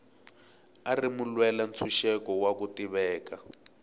a ri mulwela ntshuxeko wa ku tiveka